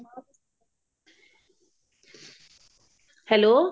hello